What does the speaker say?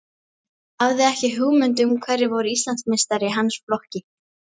Hafði ekki hugmynd um hverjir voru Íslandsmeistarar í hans flokki.